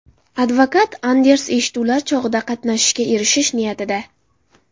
Advokat Anders eshituvlar chog‘ida qatnashishiga erishish niyatida.